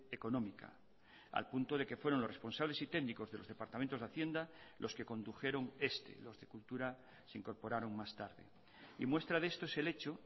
económica al punto de que fueron los responsables y técnicos de los departamentos de hacienda los que condujeron este los de cultura se incorporaron más tarde y muestra de esto es el hecho